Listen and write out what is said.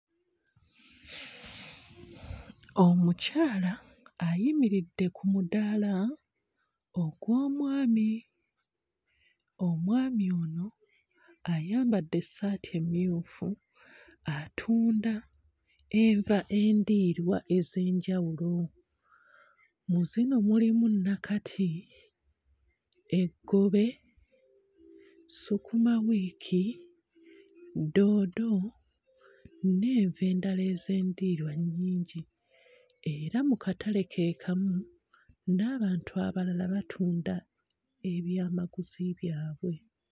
Omukyala ayimiridde ku mudaala ogw'omwami. Omwami ono ayambadde essaati emmyufu atunda enva endiirwa ez'enjawulo. Mu zino mulimu nakati, eggobe, sukumawiiki doodo n'enva endala ez'endiirwa nnyingi era mu katale ke kamu, n'abantu abalala batunda ebyamaguzi byabwe.